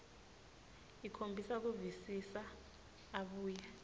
ukhombisa kuvisisa abuye